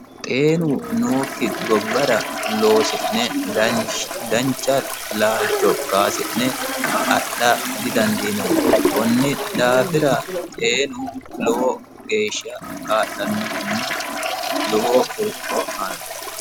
xeenu nookki gobbara loosi'ne dancha laalcho kaasi'ne adha didandiinanni konni daafira xeenu lowo geeshsha kaa'lannohonna lowo horo aanno.